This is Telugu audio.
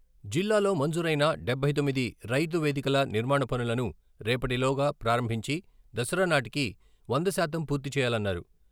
జిల్లాలో మంజూరైన డబ్బై తొమ్మిది రైతు వేదికల నిర్మాణపనులను రేపటి లోగా ప్రారంభించి దసరా నాటికీ వందశాతం పూర్తి చేయాలన్నారు.